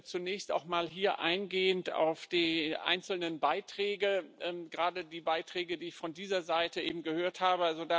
Zunächst auch mal hier eingehend auf die einzelnen Beiträge, gerade die Beiträge, die ich von dieser Seite eben gehört habe.